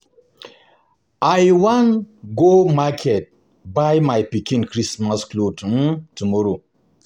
I wan go market buy my pikin Christmas cloth tomorrow